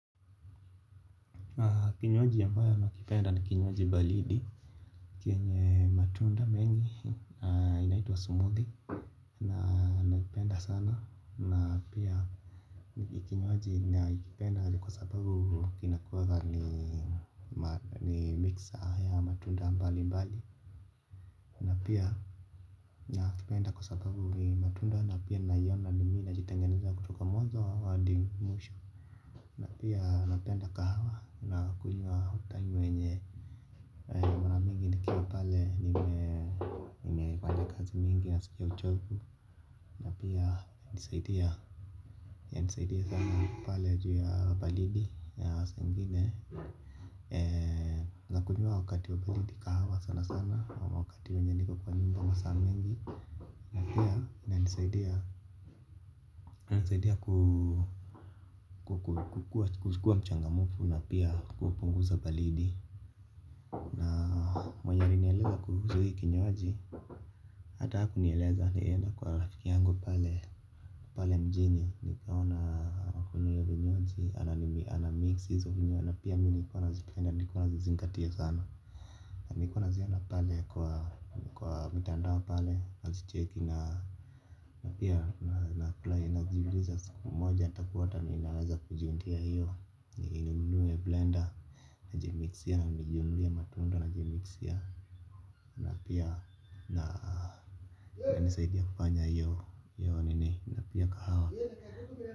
Kinyuaji ambayo nakipenda ni kinyuaji baridi chenye matunda mengi inahituwa smoothie. Na nakipenda sana na pia nikinyuaji na ikipenda kwa sababu kinakuwa ni mixer ya matunda mbali mbali. Na pia nakipenda kwa sababu ni matunda na pia nayona na mimi najitengenezea kutoka mwazo hadi mwisho. Na pia napenda kahawa na kunywa hutayi wenye mara mingi nikiwa pale nime fanya kazi mingi na ninasikia uchovu na pia inanisaidia sana pale juu ya baridi ya saa ingine. Na kunywa wakati wa baridi kahawa sana sana wakati wenye niko kwa nyumba masaa mengi napia inanisaidiya kukuwa mchangamfu na pia kupunguza baridi na mwenye alinieleza kuhusu hichi kinywaji, alinieleza alienda kwa rafiki yangu pale pale mjini nikaona kinywaji anamix hizo vinywaji na pia nilikuwa nazi penda na nilikuwa nazi zingatia sana na nilikuwa nazihona pale kwa mtandao pale nazi cheki na pia nafurahi najiuliza siku moja ntapata wapi ili ninuwe hiyo nblender na jimixia na nijinunulie matundo na jimikisia napiya na inanisaidia kufanya hiyo nini napiya kahawa.